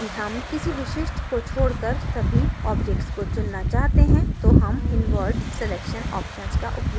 यदि हम किसी विशिष्ट को छोडकर सभी objects को चुनना चाहते हैं तो हम invert selection option का उपयोग कर सकते हैं